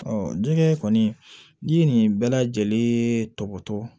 jɛgɛ kɔni n'i ye nin bɛɛ lajɛlen tɔ to